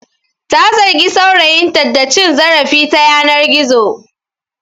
Ta zargi saurayinta da cin zarafi ta yanar gizo.